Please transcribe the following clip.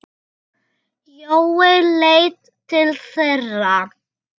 Jói leit til þeirra.